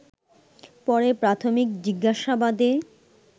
পরে প্রাথমিক জিজ্ঞাসাবাদে